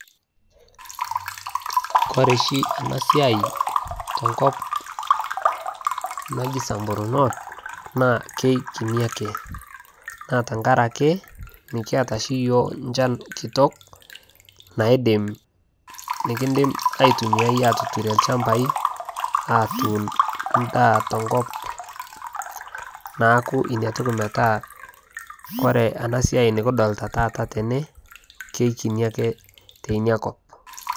kore shi anaa siai tenkop najii samburu north naa keikinii akee, naa tankarakee mikiata shii yooh nchan kitok nikindim aitumiai atuturie lchampai atuun ndaa tenkop. Naaku inia tokii metaa koree anaa siai nikidolitaa taata tenee naa keikinii akee teinia kop